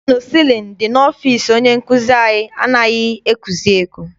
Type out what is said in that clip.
Fannụ sịlịnụ dị n'ọfịịsi onye nkụzi anyị anaghị ekusi ike.